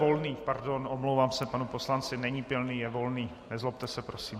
Volný, pardon, omlouvám se panu poslanci, není Pilný, je Volný, nezlobte se, prosím.